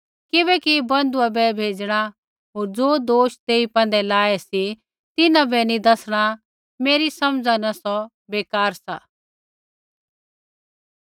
किबैकि बन्धुऐ बै भेज़णा होर ज़ो दोष तेई पैंधै लाऐ सी तिन्हां बै नी दैसणा मेरी समझ़ा न सौ बेकार सा